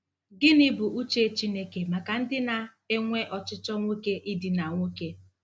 Gịnị Bụ Uche Chineke maka ndị na-enwe ochịchọ nwoke idina nwoke?